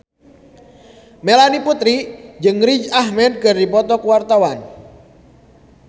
Melanie Putri jeung Riz Ahmed keur dipoto ku wartawan